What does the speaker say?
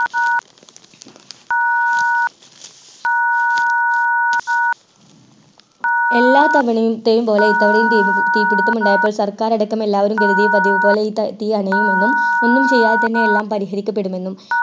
എല്ലാം തവണത്തേയും പോലെ തീ പിടിത്തം ഉണ്ടായപ്പോൾ സർക്കാർ അടക്കം എല്ലാപേരും കരുതി പതിവ് പോലെ തീ അണയുമെന്നും ഒന്നും ചെയ്യാതെ തന്നെ എല്ലാം പരിഹരിക്കപ്പെടുമെന്നും